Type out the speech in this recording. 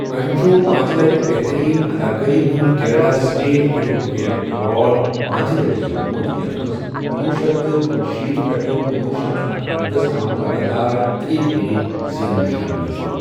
أمۍ چھ پانٛژ لٹہِ بہتریٖن اداکٲری ہُند Kerala state film fair award پانٛژ لٹہِ زیوٗنمُت، یَتھ منٛز کنوُہ شیٚتھ کنشیٖتھ پٮ۪ٹھٕ کنوُہ شٮ۪تھ اکنمتس تام لگا تار ترٛیہ پھِرِ زینن شٲمِل چُھ۔